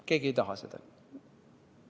Keegi ei taha seda.